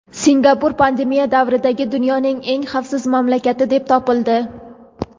Singapur pandemiya davridagi dunyoning eng xavfsiz mamlakati deb topildi.